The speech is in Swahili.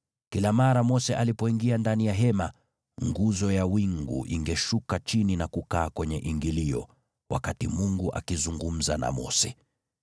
Kila mara Mose alipoingia ndani ya hema, nguzo ya wingu ingeshuka chini na kukaa kwenye ingilio, wakati Mungu akizungumza na Mose.